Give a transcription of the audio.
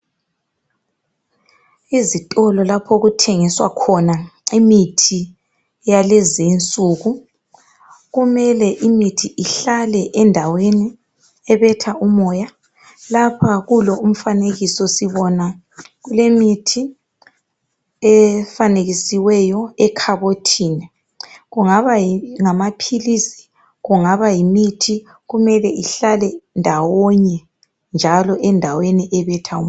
Izitolo zalapho okuthengiswa khona imithi yakulezinsuku, kumele imithi ihlale endaweni ebetha umoya, lapho kulomfanekiso sibona imithi efanekisiweyo ekhabothini ,kungaba ngamaphilisi, yimithi kumele kuhlale ndawonye endaweni ebetha umoya.